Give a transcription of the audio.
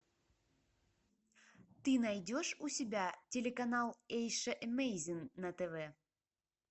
ты найдешь у себя телеканал эйша эмейзин на тв